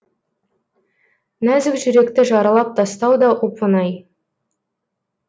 нәзік жүректі жаралап тастау да оп оңай